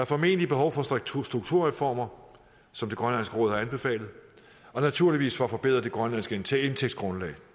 formentlig behov for strukturreformer som grønlands økonomiske råd har anbefalet og naturligvis for at forbedre det grønlandske indtægtsgrundlag